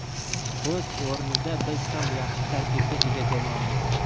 O‘z o‘rnida biz ham yaxshi tarkibga ega jamoamiz.